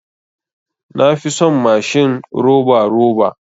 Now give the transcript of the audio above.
Na fi son mashin roba roba.